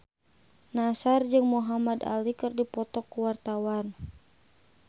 Nassar jeung Muhamad Ali keur dipoto ku wartawan